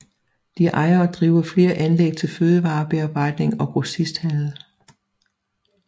De ejer og driver flere anlæg til fødevarebearbejdning og grossisthandel